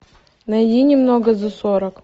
найди немного за сорок